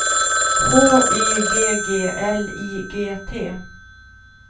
H Y G G L I G T